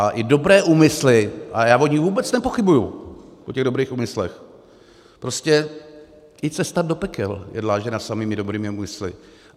A i dobré úmysly, a já o nich vůbec nepochybuji, o těch dobrých úmyslech - prostě i cesta do pekel je dlážděna samými dobrými úmysly.